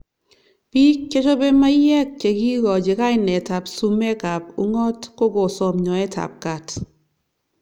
Bik chechopei maiyek chekikochi kainet ab sumek ab ungot kokosom nyoet ab kat.